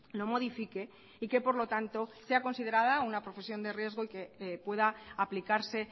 lo modifique y que por lo tanto sea considerada una profesión de riesgo y que pueda aplicarse